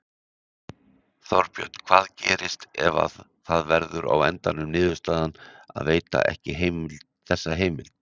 Þorbjörn: Hvað gerist ef að það verður á endanum niðurstaðan að veita ekki þessa heimild?